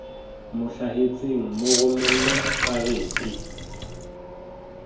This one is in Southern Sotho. mo hlahetseng mo romelle karete